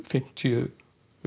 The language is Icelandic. fimmtíu